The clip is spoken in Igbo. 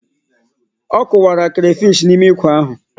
Ọ kụkwara crayfish n'ime ikwe ahụ.